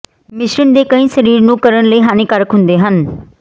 ਮਿਸ਼ਰਣ ਦੇ ਕਈ ਸਰੀਰ ਨੂੰ ਕਰਨ ਲਈ ਹਾਨੀਕਾਰਕ ਹੁੰਦੇ ਹਨ